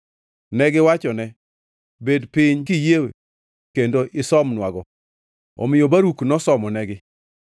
Negiwachone, “Bed piny, kiyie, kendo isomnwago.” Omiyo Baruk nosomonegi.